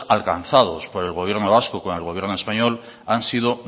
alcanzado por el gobierno vasco con el gobierno español han sido